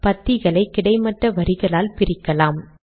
பத்திகளை கிடைமட்ட வரிகளால் பிரிக்கலாம்